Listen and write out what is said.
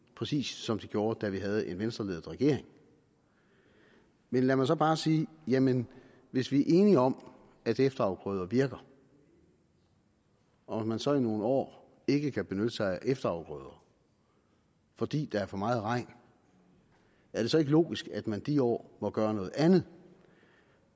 præcis som de gjorde da vi havde en venstreledet regering men lad mig så bare sige jamen hvis vi er enige om at efterafgrøder virker og man så i nogle år ikke kan benytte sig af efterafgrøder fordi der er for meget regn er det så ikke logisk at man de år må gøre noget andet